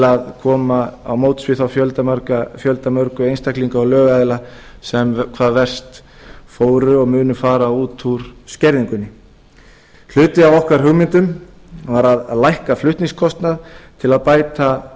að koma til móts við þá fjöldamörgu einstaklinga og lögaðila sem hvað best fóru og munu fara út úr skerðingunni hluti af okkar hugmyndum var að lækka flutningskostnað til að bæta